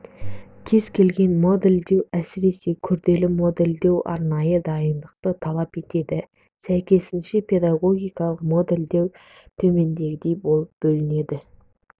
кез келген модельдеу әсіресе күрделі модельдеу арнайы дайындықты талап етеді сәйкесінше педагогикалық модельдер төмендегідей болып бөлінеді